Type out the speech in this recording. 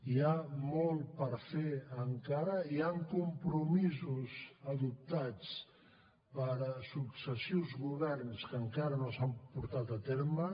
hi ha molt per fer encara hi han compromisos adoptats per successius governs que encara no s’han portat a terme